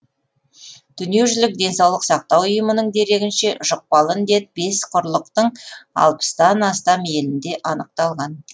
дүниежүзілік денсаулық сақтау ұйымының дерегінше жұқпалы індет бес құрлықтың алпыстан астам елінде анықталған